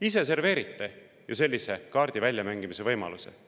Ise serveerite sellise kaardi väljamängimise võimaluse.